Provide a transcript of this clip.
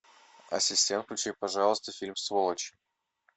ассистент включи пожалуйста фильм сволочи